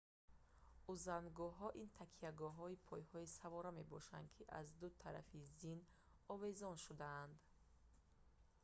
узангуҳо ин такягоҳҳои пойи савора мебошанд ки аз ду тарафи зин овезон шудаанд